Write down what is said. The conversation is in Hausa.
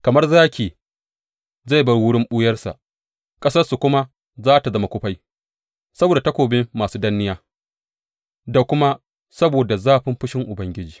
Kamar zaki zai bar wurin ɓuyarsa, ƙasarsu kuma za tă zama kufai saboda takobin masu danniya da kuma saboda zafin fushin Ubangiji.